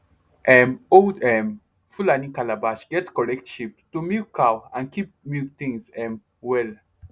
um old um fulani calabash get correct shape to milk cow and keep milk things um well